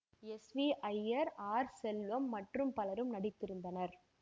S V Iyer R Chellam மற்றும் பலரும் நடித்திருந்தனர்